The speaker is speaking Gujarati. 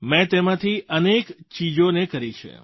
મેં તેમાંથી અનેક ચીજોને કરી છે